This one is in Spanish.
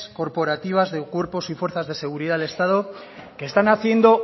corporativas de cuerpos y fuerzas de seguridad del estado que están haciendo